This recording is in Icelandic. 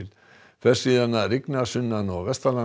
fer síðan að rigna sunnan og